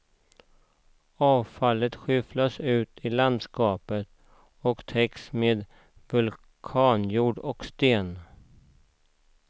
Avfallet skyfflas ut i landskapet och täcks med vulkanjord och sten.